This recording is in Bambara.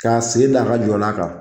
K'a sen da a ka jɔlan kan